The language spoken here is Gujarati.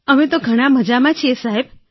અમે તો ઘણાં મજામાં છીએ સાહેબ